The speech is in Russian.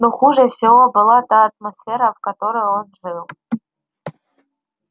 но хуже всего была та атмосфера в которой он жил